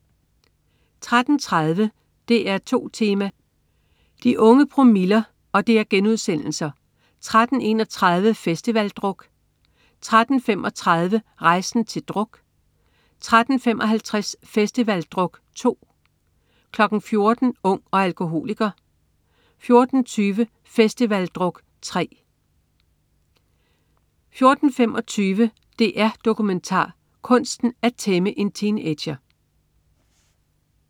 13.30 DR2 Tema: De unge promiller* 13.31 Festivaldruk 1* 13.35 Rejsen til druk* 13.55 Festivaldruk 2* 14.00 Ung og alkoholiker* 14.20 Festivaldruk 3* 14.25 DR-Dokumentar. Kunsten at tæmme en teenager*